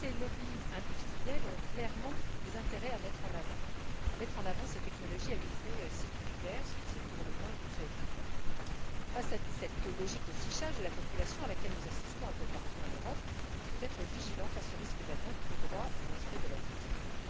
Tous ces lobbys industriels ont clairement intérêt à mettre en avant ces technologies à visée sécuritaire, ce qui est pour le moins préoccupant. Devant cette logique de fichage de la population à laquelle nous assistons un peu partout en Europe, il faut être vigilant face au risque d'atteinte au droit et au respect de la vie privée.